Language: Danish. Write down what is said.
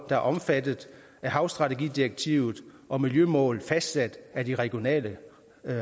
der er omfattet af havstrategidirektivet og miljømål fastsat af de regionale